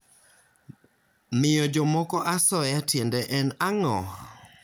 Miyo jomoko asoya tiende en ang'o?